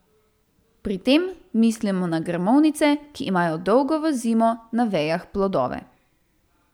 Pri tem mislimo na grmovnice, ki imajo dolgo v zimo na vejah plodove.